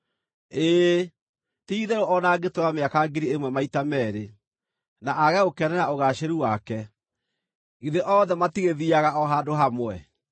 Ĩĩ, ti-itherũ o na angĩtũũra mĩaka ngiri ĩmwe maita meerĩ, na aage gũkenera ũgaacĩru wake. Githĩ othe matigĩthiiaga o handũ hamwe?